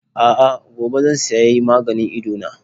A'a, gobe zan sayi maganin Idona.